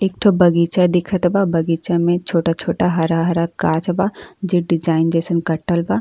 एक ठो बगीचा दिखत बा। बगीचा में छोटा-छोटा हरा हरा गाछ बा। जे डिज़ाइन जइसन कटल बा।